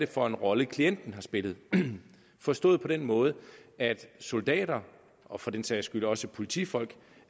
for en rolle klienten har spillet forstået på den måde at soldater og for den sags skyld også politifolk